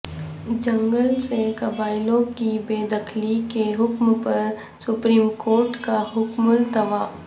جنگل سے قبائلیوں کی بے دخلی کے حکم پر سپریم کورٹ کا حکم التواء